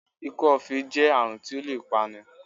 Ikọ́-ifé e jẹ́ àrùn tí ó lè pa ni